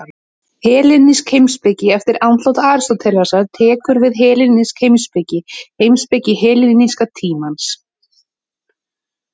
Hellenísk heimspeki Eftir andlát Aristótelesar tekur við hellenísk heimspeki, heimspeki helleníska tímans.